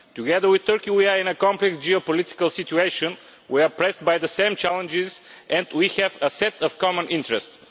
Together with Turkey we are in a complex geopolitical situation, we are pressed by the same challenges and we have a set of common interests.